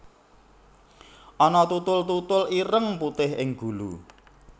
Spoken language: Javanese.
Ana tutul tutul ireng putih ing gulu